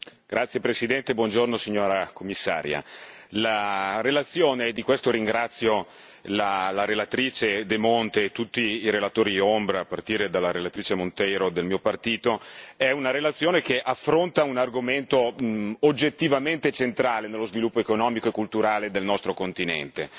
Signora Presidente, signora Commissaria, onorevoli colleghi, la relazione e di questo ringrazio la relatrice De Monte e tutti i relatori ombra, a partire dalla relatrice Monteiro del mio partito è una relazione che affronta un argomento oggettivamente centrale nello sviluppo economico e culturale del nostro continente.